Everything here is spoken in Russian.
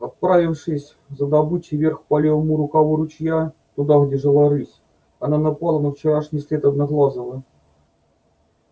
отправившись за добычей вверх по левому рукаву ручья туда где жила рысь она напала на вчерашний след одноглазого